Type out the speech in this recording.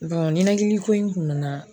ninɛkili ko in kun be n na.